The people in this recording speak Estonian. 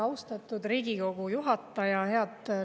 Austatud Riigikogu juhataja!